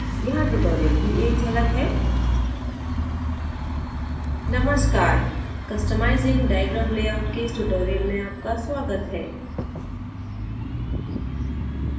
यहाँ tutorial की एक झलक है